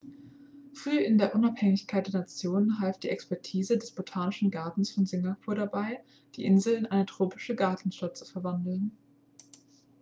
früh in der unabhängigkeit der nation half die expertise des botanischen gartens von singapur dabei die insel in eine tropische gartenstadt zu verwandeln